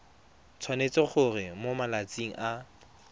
tshwanetse gore mo malatsing a